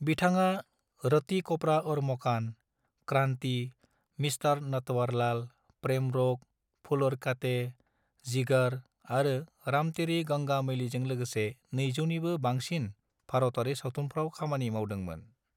बिथाङा रोटी कपड़ा और मकान, क्रांति, मिस्टर नटवरलाल, प्रेम रोग, फूल और कांटे, जिगर आरो राम तेरी गंगा मैलीजों लोगोसे 200 निबो बांसिन भारतारि सावथुनफ्राव खामानि मावदोंमोन।